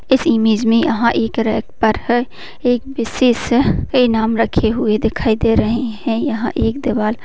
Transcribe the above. इस इमेज में यहां एक रैक पर है एक विशिष्ट ईनाम रखे हुए दिखाई दे रहे हैं यहां एक देवाल --